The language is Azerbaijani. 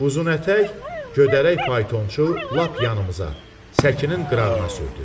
Uzunətyək, gödələrək faytonçu lap yanımıza, səkinin qırağına sürdü.